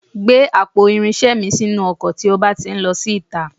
Gbé àpò irinṣẹ́ mi sínú ọkọ̀ tí ó bá ti ń lọ sí ìta